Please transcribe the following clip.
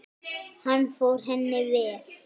Hann fór henni vel.